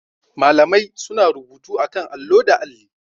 Malamai suna rubutu akan allo da alli.